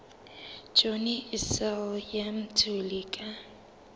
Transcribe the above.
johnny issel le mthuli ka